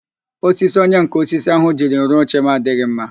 Osisi onyenká osisi ahu jiri rụọ oche m adịghị mma